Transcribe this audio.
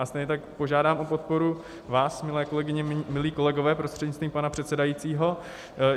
A stejně tak požádám o podporu vás, milé kolegyně, milí kolegové, prostřednictvím pana předsedajícího.